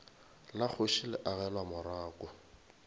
la kgoši le agelwa morako